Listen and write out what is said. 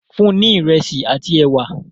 fún ní iresi àti ẹwà!